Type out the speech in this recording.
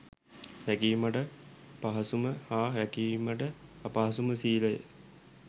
රැකීමට පහසුම හා රැකීමට අපහසු ම සීලය